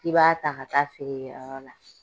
K'i b'a ta ka taa feere kɛyɔrɔ la.